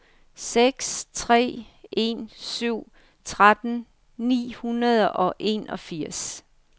seks tre en syv tretten ni hundrede og enogfirs